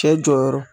Cɛ jɔyɔrɔ